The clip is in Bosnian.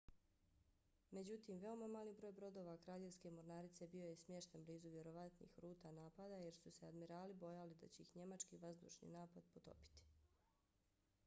međutim veoma mali broj brodova kraljevske mornarice bio je smješten blizu vjerovatnih ruta napada jer su se admirali bojali da će ih njemački vazdušni napad potopiti